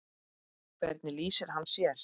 Hvernig lýsir hann sér?